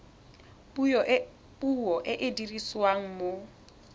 puo e e dirisiwang mo